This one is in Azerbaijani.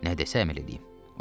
Nə desə əməl eləyim.